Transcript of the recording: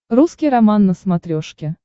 русский роман на смотрешке